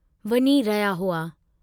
वञी रहिया हुआ।